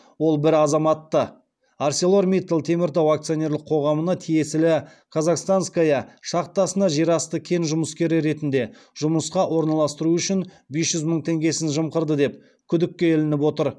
ол бір азаматты арселормиттал теміртау акционерлік қоғамына тиесілі казахстанская шахтасына жерасты кен жұмыскері ретінде жұмысқа орналастыру үшін бес жүз мың теңгесін жымқырды деп күдікке ілініп отыр